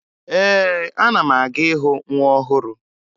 Ee, ana m aga ịhụ nwa ọhụrụ